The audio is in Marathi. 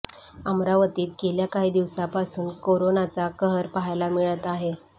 अमरावतीत गेल्या काही दिवसांपासून कोरोनाचा कहर पाहायला मिळत आहे